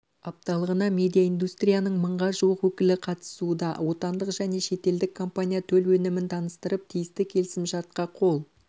апталығына медиаиндустрияның мыңға жуық өкілі қатысуда отандық және шетелдік компания төл өнімін таныстырып тиісті келісімшартқа қол